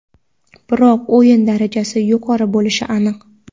biroq o‘yin darajasi yuqori bo‘lishi aniq.